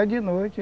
É de noite.